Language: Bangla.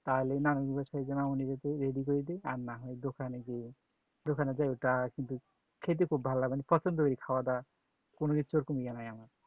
রান্না করি রেডি করে দিই না হলে দোকানে গিয়ে দোকানে গিয়ে ওটা কিন্তু খেতে খুব ভালো লাগে পছন্দ করে খাওয়া-দাওয়া কোন কিছুর নাই আমার